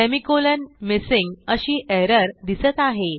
semi colon missing अशी error दिसत आहे